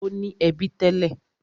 Ó ní ẹbí tẹ́lẹ̀.